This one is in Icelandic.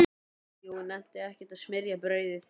Jói nennti ekkert að smyrja brauðið.